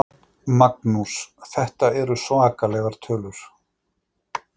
Magnús: Þetta eru svakalegar tölur?